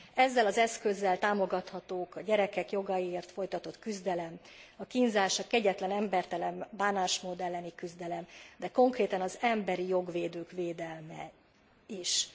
Ezzel az eszközzel támogatható a gyerekek jogaiért folytatott küzdelem, a kínzás, a kegyetlen, embertelen bánásmód elleni küzdelem, de konkrétan az emberi jogvédők védelme is.